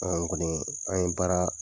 An kɔni an ye baara